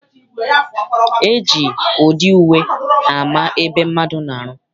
E ji ụdị uwe ama ebe mmadụ na-arụ.